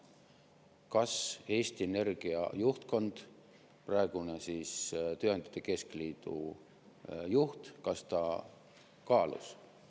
Kas Eesti Energia juhtkond, praegune Tööandjate Keskliidu juht, kaalus riske?